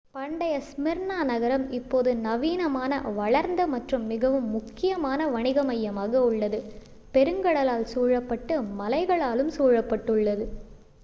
பண்டைய ஸ்மிர்னா நகரம் இப்போது நவீனமான வளர்ந்த மற்றும் மிகவும் முக்கியமான வணிக மையமாக உள்ளது பெருங்கடலால் சூழப்பட்டு மலைகளாலும் சூழப்பட்டுள்ளது